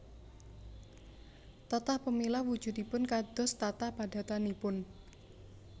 Tatah pemilah wujudipun kados tatah padatanipun